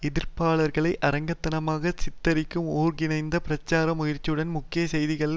எதிர்ப்பாளர்களை அரக்க தனமாக சித்திரிக்கும் ஒருங்கிணைந்த பிரச்சார முயற்சியுடன் முக்கிய செய்தி தாள்கள்